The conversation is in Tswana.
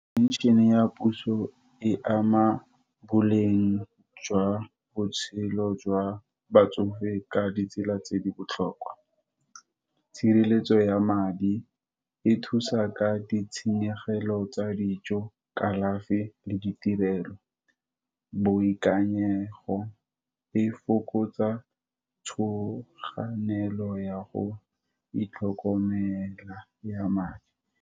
Pension-e ya puso, e ama boleng jwa botshelo jwa batsofe ka ditsela tse di botlhokwa, tshireletso ya madi, e thusa ka di tshenyegolo tsa dijo, kalafi, le ditirelo. Boikanyego, e fokotsa tshoganelo ya go itlhokomela ya madi.